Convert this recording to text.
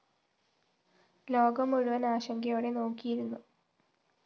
ലോകം മുഴുവന്‍ ആശങ്കയോടെ നോക്കിയിരുന്നു